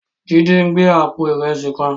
Jide n gbé àpó irèsí kán